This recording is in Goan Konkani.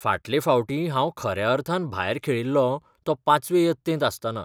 फाटले फावटी हांव खऱ्या अर्थान भायर खेळिल्लों तो पांचवे यत्तेंत आसतना .